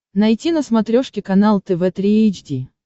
найти на смотрешке канал тв три эйч ди